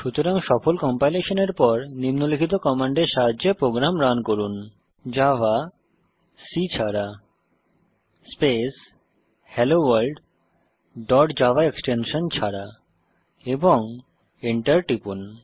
সুতরাং সফল কম্পাইলেশনের পর নিম্নলিখিত কমান্ডের সাহায্যে প্রোগ্রাম রান করুন জাভা সি ছাড়া space hello world dot Java extension ছাড়া এবং Enter টিপুন